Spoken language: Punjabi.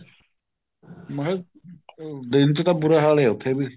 ਮੈਂ ਕਿਹਾ ਦਿਨ ਚ ਤਾਂ ਬੁਰਾ ਹਾਲ ਹੈ ਉੱਥੇ ਵੀ